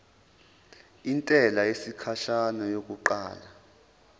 intela yesikhashana yokuqala